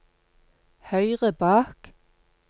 høyre bak